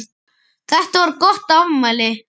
Þetta var gott afmæli.